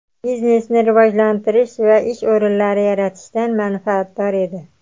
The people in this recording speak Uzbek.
biznesni rivojlantirish va ish o‘rinlari yaratishdan manfaatdor edi.